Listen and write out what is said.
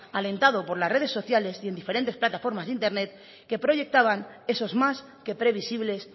alentado por las redes sociales y en diferentes plataformas de internet que proyectaban esos más que previsibles